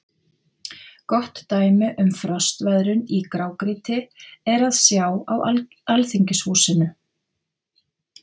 Gott dæmi um frostveðrun í grágrýti er að sjá á Alþingishúsinu.